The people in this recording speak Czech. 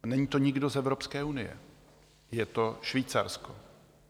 Není to nikdo z Evropské unie, je to Švýcarsko.